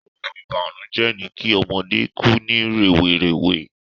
Oun ìbànújẹ́ ni ki ọmọdé ku ni rèwerèwe